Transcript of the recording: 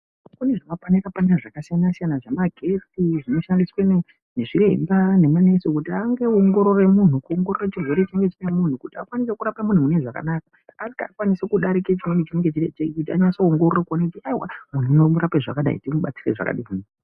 Kune zvimapanera panera zvakasiyana siyana ,zvemagetsi zvinoshandiswe nezviremba nema nurse kuti ange owongorora munhu ,kuongorora chirwere chinenge chinemunhu kuti akwanise kurapa munhu mune zvakanaka akwanise kudarika chimweni kuti akwanise kuongorora kuti ayiwa munhu unorapwe zvakadai.